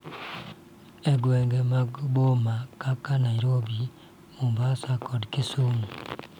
E gwenge mag boma kaka Nairobi, Mombasa, kod Kisumu,